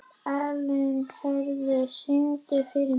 Elínheiður, syngdu fyrir mig „Sorgarlag“.